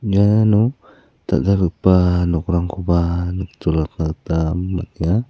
iano dal·dalgipa nokrangkoba nikjolatna gita man·enga.